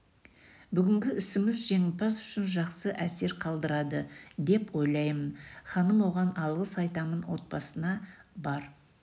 бүгінгі ісіміз жеңімпаз үшін жақсы әсер қалдырады деп ойлаймын ханым оған алғыс айтамын отбасына бар